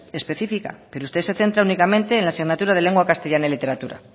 especifica pero usted se centra únicamente en la asignatura de lengua castellana y literatura